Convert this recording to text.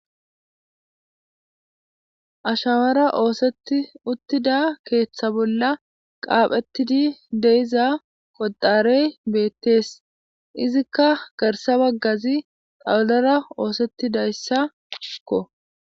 Ashshawara oosetti utiidda keeththa bolla qaphphetiidi de'iza qotarey beettees izikka garssa baggazi tawullara oosetiidayassakko